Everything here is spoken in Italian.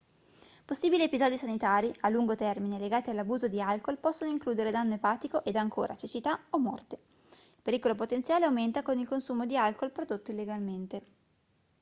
possibili episodi sanitari a lungo termine legati all'abuso di alcol possono includere danno epatico ed ancora cecità o morte il pericolo potenziale aumenta con il consumo di alcol prodotto illegalmente